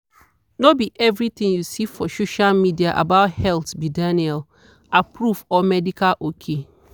no be everything you see for social media about health be daniel-approved or medical ok.